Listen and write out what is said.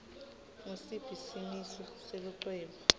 ngusiphi simiso selucwebu